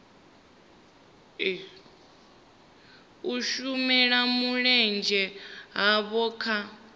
u shela mulenzhe havho kha